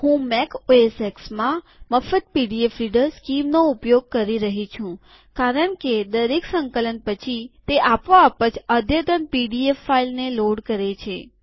હું મેક OSXમાં મફત પીડીએફ રીડર સ્કીમનો ઉપયોગ કરી રહી છું કારણકે દરેક સંકલન પછી તે આપો આપ જ અદ્યતન પીડીએફ ફાઈલને લોડ કરે છે